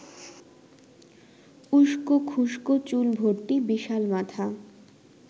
উস্কোখুস্কো চুল ভর্তি বিশাল মাথা